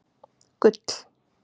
Gull